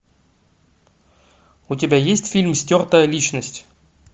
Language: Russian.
у тебя есть фильм стертая личность